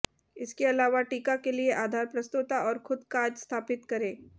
इसके अलावा टिका के लिए आधार प्रस्तोता और खुद काज स्थापित करें